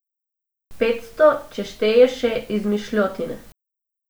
Petsto, če šteješ še izmišljotine.